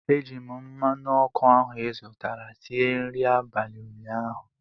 Eji m mmanụ ọkụ ahụ izụtara sie nri abalị ụnyaahụ